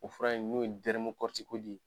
O fura in n'o ye